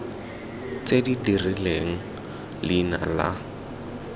tse di rileng leina la